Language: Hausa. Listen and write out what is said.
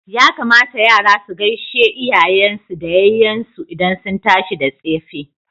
Ya kamata Yara su gaishe lyayensu da yayensu idan sun tashi da tsafe.